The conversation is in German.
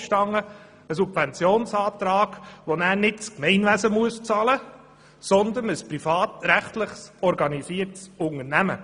Wohlverstanden geht es um eine Subvention, welche nicht das Gemeinwesen bezahlen muss, sondern ein privatrechtlich organisiertes Unternehmen.